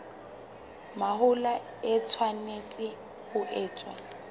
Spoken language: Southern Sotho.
mahola e tshwanetse ho etswa